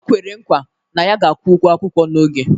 Okwere nkwa na ya ga-akwụ ụgwọ akwụkwọ n'oge